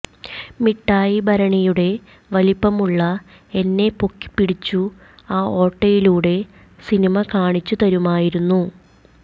മിട്ടായി ഭരണിയുടെ വലിപ്പമുള്ള എന്നെ പൊക്കി പിടിച്ചു ആ ഓട്ടയിലൂടെ സിനിമ കാണിച്ചു തരുമായിരുന്നു